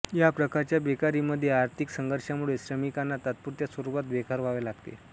या प्रकारच्या बेकारीमध्ये आर्थिक संघर्षामुळे श्रमिकांना तात्पुरत्या स्वरूपात बेकार व्हावे लागते